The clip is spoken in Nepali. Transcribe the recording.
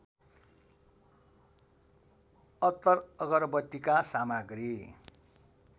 अत्तर अगरबत्तीका सामग्री